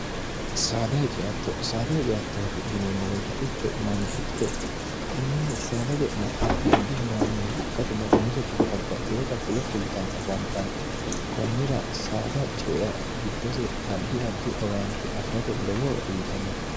dcosaadahiceattooti yineemmo beetitecho mangitte tenne saada je'ne addi addi horaameeyye ikkate no umiseta babbaxiwota fulo fultanni afantanno kunnira saada cea giddose addi addi owaanti afi'rate lowohoro uyitannote